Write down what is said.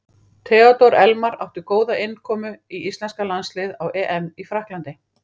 Theodór Elmar átti góða innkomu í íslenska landsliðið á EM í Frakklandi.